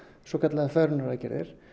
svokallaðar fegrunaraðgerðir